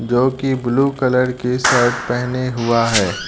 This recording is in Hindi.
जो कि ब्लू कलर की शर्ट पहने हुआ है।